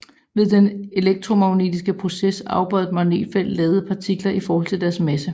Ved den elektromagnetiske proces afbøjede et magnetfelt ladede partikler i forhold til deres masse